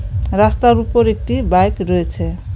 রাস্তার উপর একটি বাইক রয়েছে.